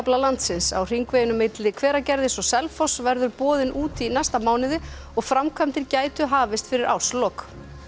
landsins á hringveginum milli Hveragerðis og Selfoss verður boðin út í næsta mánuði og framkvæmdir gætu hafist fyrir árslok